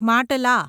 માટલા